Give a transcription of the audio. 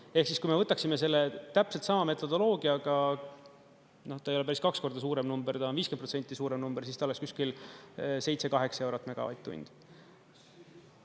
Ehk siis, kui me võtaksime selle täpselt sama metodoloogiaga – no ta ei ole päris kaks korda suurem number, ta on 50% suurem number –, siis ta oleks kuskil 7–8 eurot megavatt-tundi.